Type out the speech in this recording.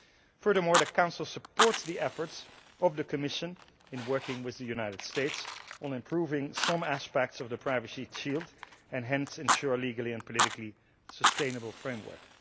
Furthermore, the Council supports the efforts of the Commission in working with the United States on improving some aspects of the privacy shield and hence ensure a legally and politically sustainable framework.